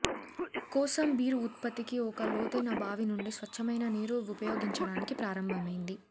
కోసం బీరు ఉత్పత్తికి ఒక లోతైన బావి నుండి స్వచ్చమైన నీరు ఉపయోగించడానికి ప్రారంభమైంది